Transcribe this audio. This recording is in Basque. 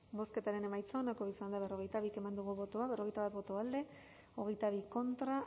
bozketaren emaitza onako izan da hirurogeita hamabost eman dugu bozka berrogeita bat boto alde hogeita bi contra